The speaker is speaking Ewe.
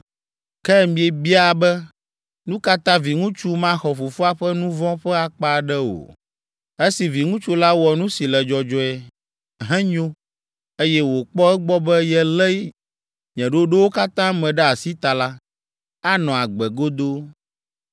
“Ke miebia be, ‘Nu ka ta viŋutsu maxɔ fofoa ƒe nu vɔ̃ ƒe akpa aɖe o?’ Esi viŋutsu la wɔ nu si le dzɔdzɔe, henyo, eye wòkpɔ egbɔ be yelé nye ɖoɖowo katã me ɖe asi ta la, anɔ agbe godoo.